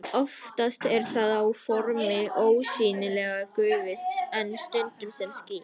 Oftast er það á formi ósýnilegrar gufu en stundum sem ský.